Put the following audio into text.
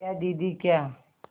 क्या दीदी क्या